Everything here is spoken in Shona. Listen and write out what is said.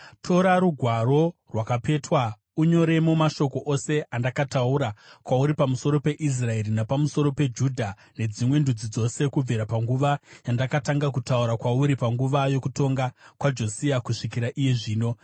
“Tora rugwaro rwakapetwa unyoremo mashoko ose andakataura kwauri pamusoro peIsraeri, napamusoro peJudha nedzimwe ndudzi dzose kubvira panguva yandakatanga kutaura kwauri panguva yokutonga kwaJosia kusvikira iye zvino.